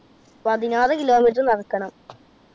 പതിനാറ് kilometer നടക്കണം.